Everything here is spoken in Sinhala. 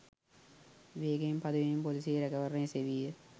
වේගයෙන් පදවමින් පොලිසියේ රැකවරණය සෙවීය.